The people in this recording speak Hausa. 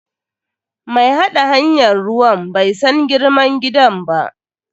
Mai haɗa hanyan ruwan bai san girman gidan ba.